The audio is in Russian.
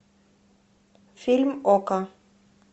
фильм окко